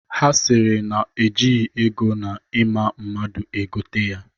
Ha sịrị na ejighi ego na ịma mmadụ ego tee ya.